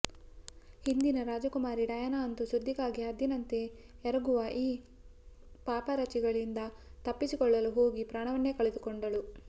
ಹಿಂದಿನ ರಾಜಕುಮಾರಿ ಡಯಾನಾ ಅಂತೂ ಸುದ್ದಿಗಾಗಿ ಹದ್ದಿನಂತೆ ಎರಗುವ ಈ ಪಾಪರಾಜಿಗಳಿಂದ ತಪ್ಪಿಸಿಕೊಳ್ಳಲು ಹೋಗಿ ಪ್ರಾಣವನ್ನೇ ಕಳೆದುಕೊಂಡಳು